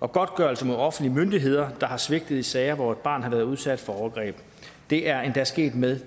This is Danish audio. og godtgørelse mod offentlige myndigheder der har svigtet i sager hvor et barn har været udsat for overgreb det er endda sket med